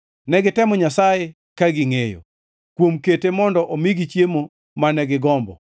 Ne gitemo Nyasaye ka gingʼeyo, kuom kete mondo omigi chiemo mane gigombo.